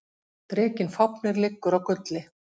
Drekinn Fáfnir liggur á gulli.